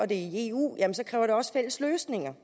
det er i eu så kræver det også fælles løsninger